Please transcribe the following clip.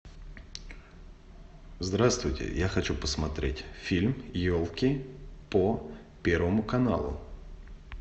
здравствуйте я хочу посмотреть фильм елки по первому каналу